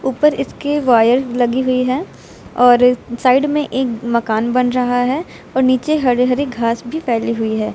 उपर इसके वायर लगी हुई है और साइड में एक मकान बन रहा है और नीचे हरे हरे घास भी फैली हुई है।